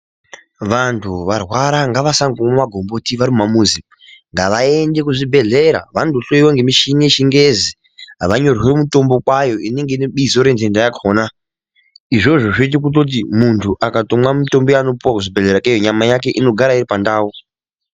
Vantu varwara ngavasangomwa gomboti vari mumamuzi ngavaende kuzvibhedhlera vandohloiwa nemushini yechingezi vanonyorerwa mitombo kwayo inenge ine bizo rendenda izvozvo zvinoita kuti muntu akamwa mitombo yanopuwa kuzvibhedhlera ikweyo nyama yake inogara iri pandau.